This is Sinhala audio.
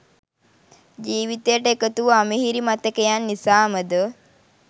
ජීවිතයට එකතු වූ අමිහිරි මතකයන් නිසාමදො